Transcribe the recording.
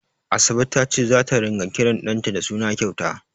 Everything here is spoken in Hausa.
Asabe ta ce zata ringa kiran ɗanta da suna kyauta.